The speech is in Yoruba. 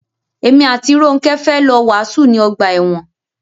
Èmi àti Rónkẹ́ fẹ́ lọ wàásù ní ọgbà ẹ̀wọn.